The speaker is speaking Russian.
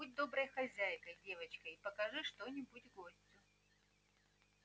будь доброй хозяйкой девочка и покажи что-нибудь гостю